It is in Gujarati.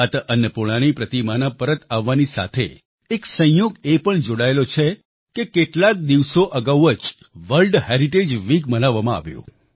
માતા અન્નપૂર્ણાની પ્રતિમાના પરત આવવાની સાથે એક સંયોગ એ પણ જોડાયેલો છે કે કેટલાક દિવસો અગાઉ જ વર્લ્ડ હેરિટેજ વીક મનાવવામાં આવ્યું